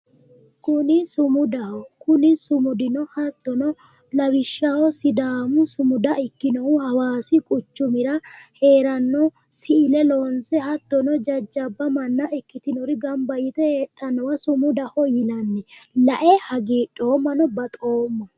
Kuni sumudaho kuni sumudi hattono lawishshaho sidaamu sumuda ikkinohu hawaasi quchumira heeranno siile loonse hattono jajjabba manna ikkitinori gamba yite heedhannowa sumudaho yinanni lae hagiidhoomma baxoomma